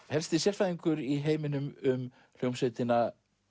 helsti sérfræðingur í heiminum um hljómsveitina